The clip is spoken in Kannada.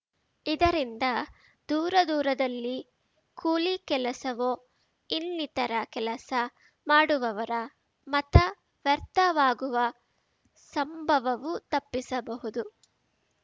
ಇದರಿಂದ ದೂರದೂರದಲ್ಲಿ ಕೂಲಿ ಕೆಲಸವೋ ಇನ್ನಿತರ ಕೆಲಸ ಮಾಡುವವರ ಮತ ವ್ಯರ್ಥವಾಗುವ ಸಂಭವವೂ ತಪ್ಪಿಸಬಹುದು